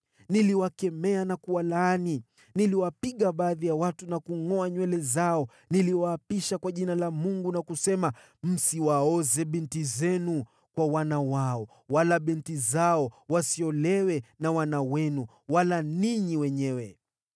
Niliwakemea na kuwalaani. Niliwapiga baadhi ya watu na kungʼoa nywele zao. Niliwaapisha kwa jina la Mungu na kusema: “Msiwaoze binti zenu kwa wana wao, wala binti zao wasiolewe na wana wenu wala ninyi wenyewe.